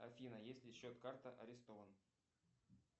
афина если счет карты арестован